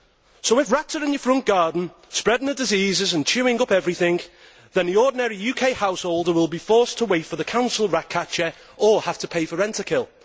So, if rats are in your front garden, spreading their diseases and chewing everything up, the ordinary UK householder will be forced to wait for the Council rat catcher or have to pay for Rentokil.